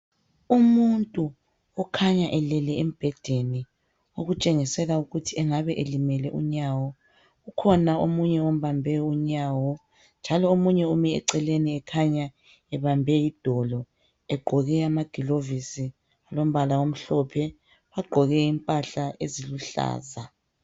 Umuntu okhanya elele embhedeni , okutshengisela ukuthi engabe elimele unyawo. Kukhona omunye ombambe unyawo njalo omunye ume eceleni ekhanya ebambe idolo egqoke amagilovisi alombala omhlophe. Bagqoke impahla eziluhlaza.